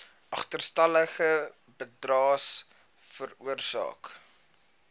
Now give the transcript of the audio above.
agterstallige bydraes veroorsaak